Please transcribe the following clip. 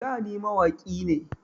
Da ni mawaƙi ne